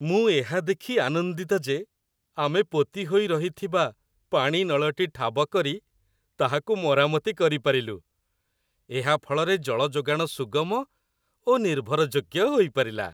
ମୁଁ ଏହା ଦେଖି ଆନନ୍ଦିତ ଯେ ଆମେ ପୋତି ହୋଇ ରହିଥିବା ପାଣି ନଳଟି ଠାବ କରି ତାହାକୁ ମରାମତି କରିପାରିଲୁ, ଏହା ଫଳରେ ଜଳ ଯୋଗାଣ ସୁଗମ ଓ ନିର୍ଭର ଯୋଗ୍ୟ ହୋଇପାରିଲା।